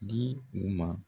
Di u ma.